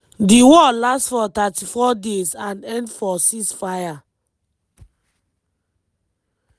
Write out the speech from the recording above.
di war last for 34 days and end for ceasefire.